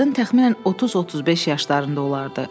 Qadın təxminən 30-35 yaşlarında olardı.